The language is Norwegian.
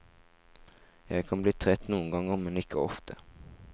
Jeg kan bli trett noen ganger, men ikke ofte.